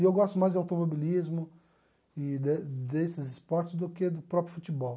E eu gosto mais do automobilismo e de desses esportes do que do próprio futebol.